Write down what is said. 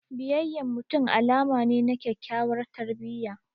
Biyayyan mutum alama ne na kyakyawar tarbiyya.